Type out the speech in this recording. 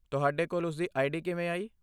ਤੁਹਾਡੇ ਕੋਲ ਉਸਦੀ ਆਈਡੀ ਕਿਵੇਂ ਆਈ?